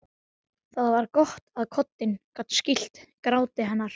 Það var gott að koddinn gat skýlt gráti hennar.